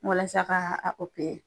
Walasa k'a